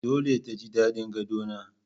Dole ta ji daɗin Gadon nan